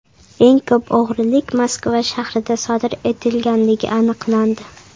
Eng ko‘p o‘g‘rilik Moskva shahrida sodir etilganligi aniqlandi.